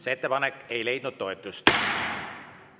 See ettepanek ei leidnud toetust.